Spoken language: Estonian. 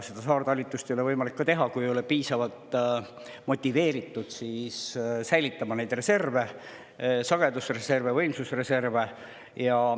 Saartalitlust ei ole võimalik teha, kui ei olda piisavalt motiveeritud säilitama reserve – sagedusreserve, võimsusreserve.